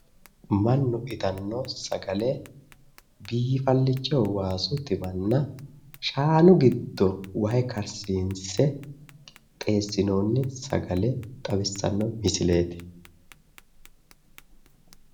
Mannu itanno sagale biifallicho waasu timanna shaanu giddo wahe karsiinse qixxeessinoonni sagale xawissanno misileeti.